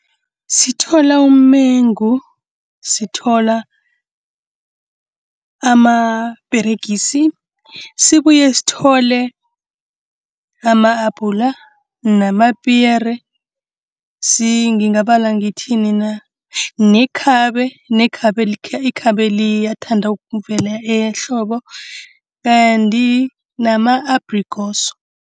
Sithola umengu, sithola amaperegisi, sibuye sithole ama-abhula namapiyere. Ngingabala ngithini na? Nekhabe, ikhabe liyathanda ukuvela ehlobo kanti nama-abhrikosi.